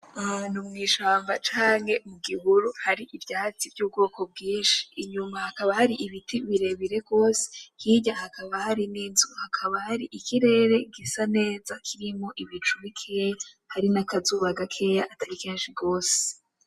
Ahantu mw'ishamba canke mu gihuru hari ivyatsi vy'ubwoko bwinshi. Inyuma hakaba hari ibiti birebire gose, hirya hakaba hari n'inzu. Hakaba hari ikirere gisa neza kirimwo umuco mukeya, hari n'akazuba gakeya atari kenshi gose.